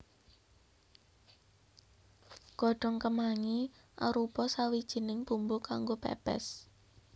Godhong kemangi arupa sawijining bumbu kanggo pèpès